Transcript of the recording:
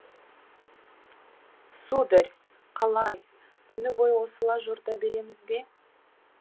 сударь қалай түні бойы осылай жорта береміз бе